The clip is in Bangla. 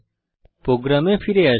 প্রোগ্রামে ফিরে আসি